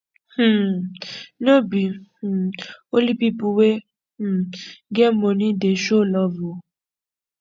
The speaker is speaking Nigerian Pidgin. um no be um only pipu wey um get moni dey show love o